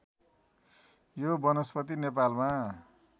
यो वनस्पति नेपालमा